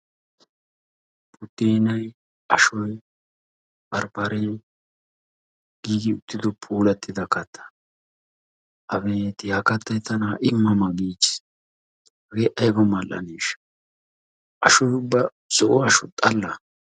Buddeenayi, ashoyi, barbbaree giigi uttido puulattida kattaa abeeti ha kattayi tana ha7i ma ma giichchis. Hagee ayiba mall7aneeshsha ashoyi ubba zo7o asho xallaa.